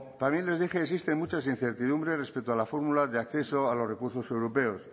también les dije existen muchas incertidumbres respecto a la fórmula de acceso a los recursos europeos